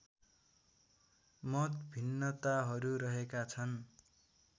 मतभिन्नताहरू रहेका छन्